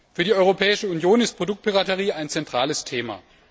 Für die Europäische Union ist Produktpiraterie ein zentrales Thema.